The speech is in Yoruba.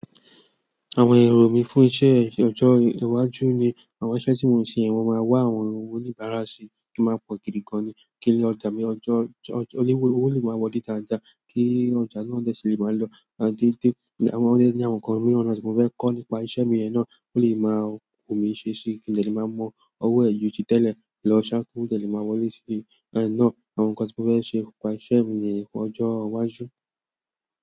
Àwọn èrò mí fún iṣẹ́ ọjọ́ iwájú ni àwọn iṣẹ́ tí mò ń ṣe yen, mo máa wá àwọn oníbàárà sì kí máa pọ̀ gidi gan ni, kí n lo ọjà ni ọjọ́ ọjọ́ o lé owo le maa wòlè dáadáa, kí ọjà náà dẹ̀ sí lè máa lọ, àti pe àwọn o dẹ́ ní àwọn nǹkan mìíràn náà tí mò fẹ́ kọ́ nípa iṣẹ́ mi yen náà, kó lè máa wù mí ṣesí, kí n de le máa mọ ọwọ́ ẹ ju ti tẹ́lẹ̀ lọ ṣá kówo de lè máa wọlé sí i beyen náà àwọn nǹkan tí mò fẹ́ ṣe nípa iṣẹ́ mi níyen lọ́jọ́ iwájú.